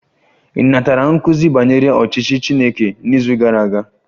Ị natara nkuzi banyere ọchịchị Chineke n'izu gara aga?